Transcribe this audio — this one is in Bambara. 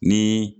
Ni